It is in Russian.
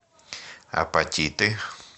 апатиты